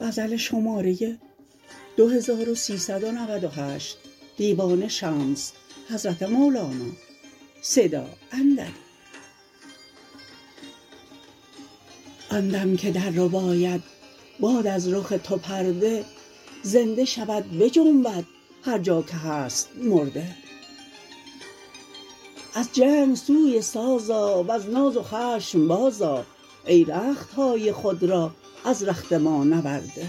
آن دم که در رباید باد از رخ تو پرده زنده شود بجنبد هر جا که هست مرده از جنگ سوی ساز آ وز ناز و خشم بازآ ای رخت های خود را از رخت ما نورده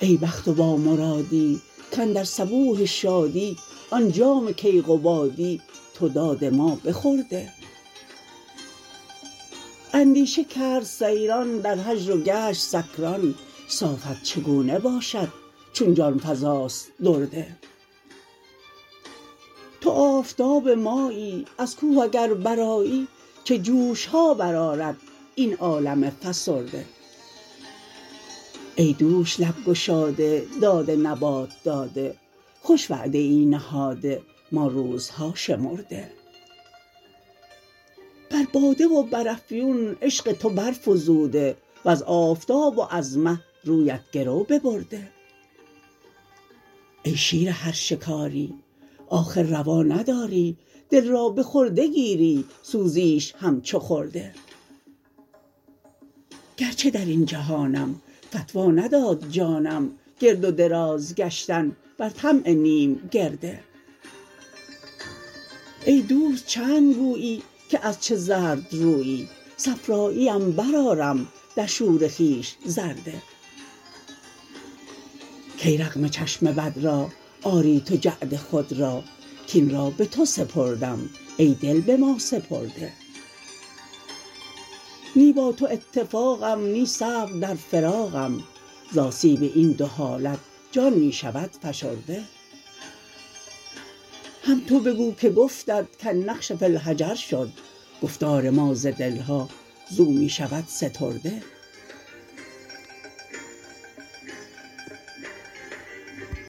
ای بخت و بامرادی کاندر صبوح شادی آن جام کیقبادی تو داده ما بخورده اندیشه کرد سیران در هجر و گشت سکران صافت چگونه باشد چون جان فزاست درده تو آفتاب مایی از کوه اگر برآیی چه جوش ها برآرد این عالم فسرده ای دوش لب گشاده داد نبات داده خوش وعده ای نهاده ما روزها شمرده بر باده و بر افیون عشق تو برفزوده و از آفتاب و از مه رویت گرو ببرده ای شیر هر شکاری آخر روا نداری دل را به خرده گیری سوزیش همچو خرده گرچه در این جهانم فتوی نداد جانم گرد و دراز گشتن بر طمع نیم گرده ای دوست چند گویی که از چه زرد رویی صفراییم برآرم در شور خویش زرده کی رغم چشم بد را آری تو جعد خود را کاین را به تو سپردم ای دل به ما سپرده نی با تو اتفاقم نی صبر در فراقم ز آسیب این دو حالت جان می شود فشرده هم تو بگو که گفتت کالنقش فی الحجر شد گفتار ما ز دل ها زو می شود سترده